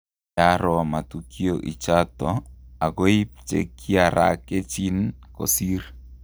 Kaaro Matukio ichato akoip che kiarakechin kosir